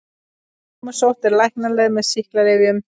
Ámusótt er læknanleg með sýklalyfjum.